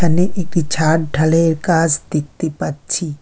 এখানে একটি ছাদ ঢালায়ের কাজ দেখতে পাচ্ছি।